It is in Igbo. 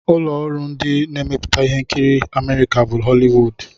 Ụlọ ọrụ ndị na-emepụta ihe nkiri Amerịka bụ Họliwud.